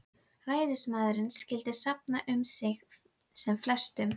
Ræðismaðurinn skyldi safna um sig sem flestum